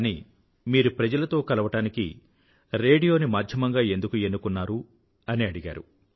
కానీ మీరు ప్రజలతో కలవడానికి రేడియోని మాధ్యమంగా ఎందుకు ఎన్నుకున్నారు అని అడిగారు